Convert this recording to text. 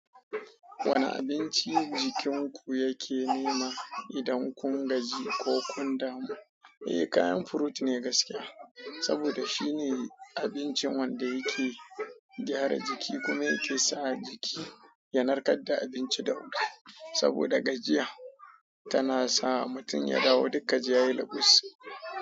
Wane abinci jikinku yake nema idan kun gaji ko kun damu? Eh, kayan furut ne gaskiya. Saboda shine abincin wanda yake gyara jiki kuma yake sa jiki ya narkar da abinci da wuta. Saboda gajiya tana sa mutum ya dawo duka jiya ya yi lagus.